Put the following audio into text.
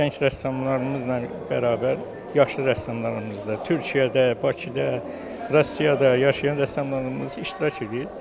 Gənc rəssamlarımızla bərabər yaşlı rəssamlarımız da Türkiyədə, Bakıda, Rusiyada yaşayan rəssamlarımız iştirak eləyir.